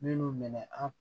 Minnu minɛ an